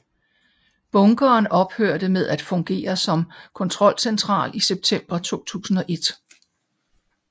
Bunkeren ophørte med at fungere som kontrolcentral i september 2001